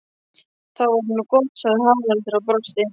Það var nú gott, sagði Haraldur og brosti.